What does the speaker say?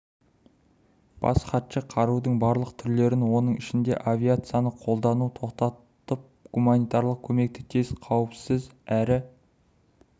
бас хатшы қарудың барлық түрлерін оның ішінде авиацияны қолдануды тоқтатып гуманитарлық көмекті тез қауіпсіз әрі